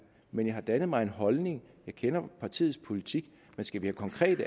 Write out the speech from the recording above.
men jeg har dannet mig en holdning og jeg kender partiets politik hvis vi konkret